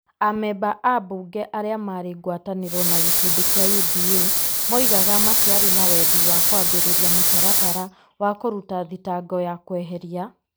Amemba ambunge arĩa marĩ ngwatanĩro na gĩkundi kĩa UDA moigaga matiarĩ na wendi wa kwambĩrĩria mũtaratara wa kũruta thitango ya kweheria ,